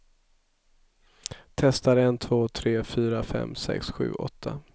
Testar en två tre fyra fem sex sju åtta.